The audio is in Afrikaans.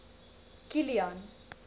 kilian